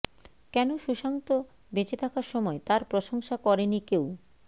কেন সুশান্ত বেঁচে থাকার সময় তাঁর প্রশংসা করেনি কেউ